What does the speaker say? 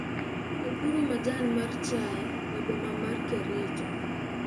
opuro majan mar chaye e boma mar Kericho